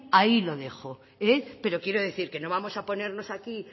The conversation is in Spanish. ahí lo dejo pero quiero decir que no vamos a ponernos aquí